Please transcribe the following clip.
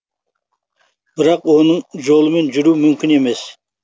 бірақ оның жолымен жүру мүмкін емес